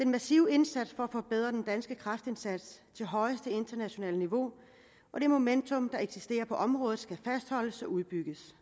massive indsats for at forbedre den danske kræftindsats til højeste internationale niveau og det momentum der eksisterer på området skal fastholdes og udbygges